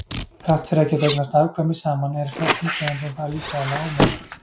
þrátt fyrir að geta eignast afkvæmi saman er flestum tegundum það líffræðilega ómögulegt